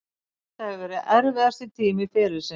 Þetta hefur verið erfiðasti tími ferilsins.